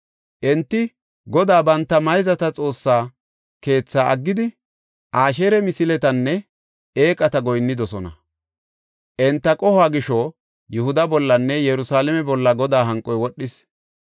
Enti Godaa banta mayzata Xoossa keethaa aggidi, Asheeri misiletanne eeqata goyinnidosona. Enti qohuwa gisho Yihuda bollanne Yerusalaame bolla Godaa hanqoy wodhis.